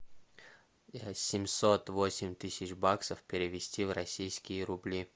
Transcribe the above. семьсот восемь тысяч баксов перевести в российские рубли